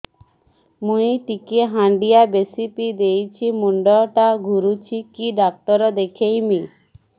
ମୁଇ ଟିକେ ହାଣ୍ଡିଆ ବେଶି ପିଇ ଦେଇଛି ମୁଣ୍ଡ ଟା ଘୁରୁଚି କି ଡାକ୍ତର ଦେଖେଇମି